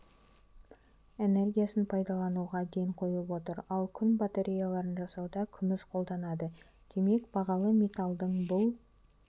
энергиясын пайдалануға ден қойып отыр ал күн батареяларын жасауда күміс қолданылады демек бағалы металдың бұл